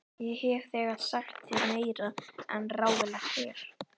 Ég hef þegar sagt þér meira en ráðlegt er.